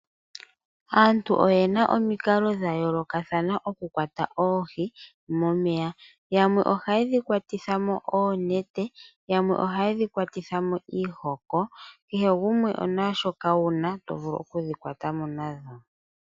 Aantu oyena omikalo dha yoolokathana mokukwata oohi momeya, yamwe ohaye dhi kawatitha mo oonete, yamwe ohaye dhi kwatitha mo iihoko kehe gumwe naashoka wuna to vulu okudhi kwata mo nadho.